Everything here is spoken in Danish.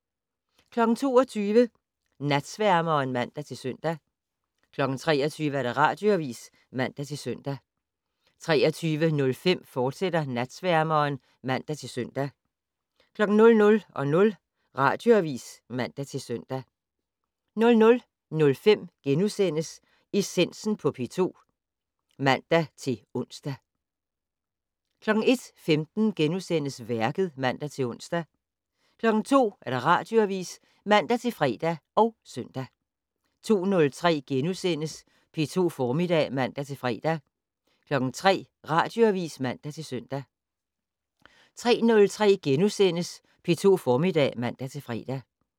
22:00: Natsværmeren (man-søn) 23:00: Radioavis (man-søn) 23:05: Natsværmeren, fortsat (man-søn) 00:00: Radioavis (man-søn) 00:05: Essensen på P2 *(man-ons) 01:15: Værket *(man-ons) 02:00: Radioavis (man-fre og søn) 02:03: P2 Formiddag *(man-fre) 03:00: Radioavis (man-søn) 03:03: P2 Formiddag *(man-fre)